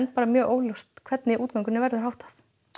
mjög óljóst hvernig útgöngunni verður háttað